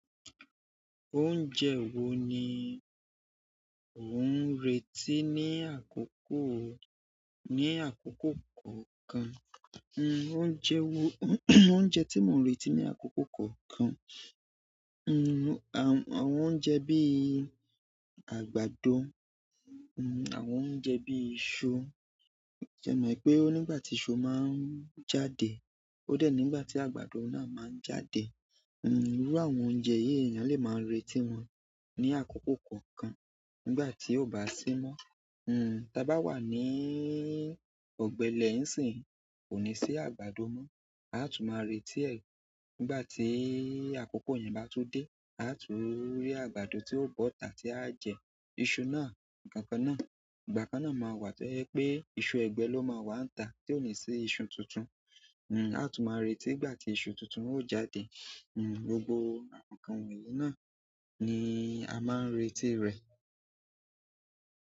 Oúnjẹ wo ni o n retí ní àkókò, ní àkókò kọ̀ọ̀kan? Oúnjẹ wo oúnjẹ tí mò ń retí ní àkókò kọ̀ọ̀kan, hm àwọn oúnjẹ bíi àgbàdo, hm àwọn oúnjẹ bíi iṣu. Ẹ maa wipé o nígbà tí iṣu máa ń jáde ó dé nígbà tí àgbàdo náà máa ń jáde. Hm iru àwọn oúnjẹ yí èèyàn lè máa n retí wọn ní àkókò kọ̀ọ̀kan nígbà tí ó bá sí mọ́. Hm tí a bá wà ní ọ̀gbẹlẹ̀ n sin kò ní sí àgbàdo mọ́, a tú máa retí ẹ̀ nígbà tí àkókò yẹn bá tú dé, a á tú rí àgbàdo tí ó bọ́ tá tí a jẹ iṣu náà, nkankan náà. Ìgbà kan náà máa wà tó jẹ́ wipé iṣu ẹ̀gbẹ́ ló máa wà níta tí ò ní sí iṣu tuntun. Hm a á tún máa retí ìgbà tí isu tuntun ó jáde. Hm gbogbo àwọn nkankan wonyii náà ni a máa n retí rẹ̀.